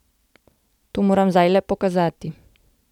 To moram zdaj le pokazati.